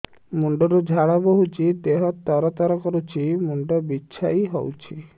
ମୁଣ୍ଡ ରୁ ଝାଳ ବହୁଛି ଦେହ ତର ତର କରୁଛି ମୁଣ୍ଡ ବିଞ୍ଛାଇ ହଉଛି